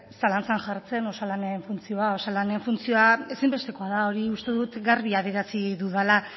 zalantzan jartzen osalanen funtzioa osalanen funtzioa ezinbestekoa da hori uste dut garbi adierazi dudala